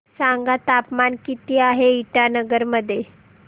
सांगा तापमान किती आहे इटानगर मध्ये